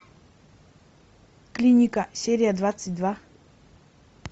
клиника серия двадцать два